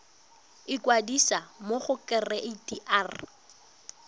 ikwadisa mo go kereite r